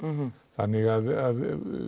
þannig að